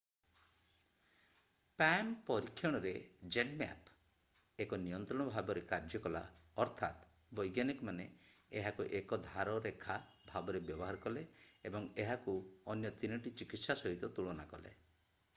Palm ପରୀକ୍ଷଣରେ, ZMapp ଏକ ନିୟନ୍ତ୍ରଣ ଭାବରେ କାର୍ଯ୍ୟ କଲା ଅର୍ଥାତ୍ ବୈଜ୍ଞାନିକମାନେ ଏହାକୁ ଏକଧାର ରେଖା ଭାବରେ ବ୍ୟବହାର କଲେ ଏବଂ ଏହାକୁ ଅନ୍ୟ 3 ଟି ଚିକିତ୍ସା ସହିତ ତୁଳନା କଲେ।